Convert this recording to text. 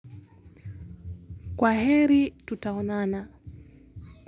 Kwa heri tutaonana.